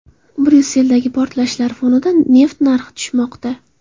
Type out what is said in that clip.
Bryusseldagi portlashlar fonida neft narxi tushmoqda.